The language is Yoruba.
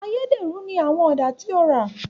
Ayédèrú ní àwọn Ọ̀dà tí ó rà